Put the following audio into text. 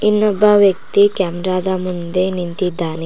ಇಲ್ಲೊಬ್ಬ ವ್ಯಕ್ತಿ ಕ್ಯಾಮರಾ ಮುಂದೆ ನಿಂತಿದ್ದಾನೆ.